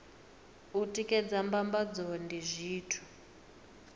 u tikedza mbambadzo ndi zwithu